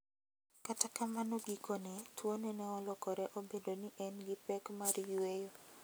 kata kamano gikone tuone ne olokore obedo ni ne en gi pek mar yweyo.